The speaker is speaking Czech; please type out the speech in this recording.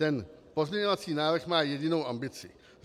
Ten pozměňovací návrh má jedinou ambici.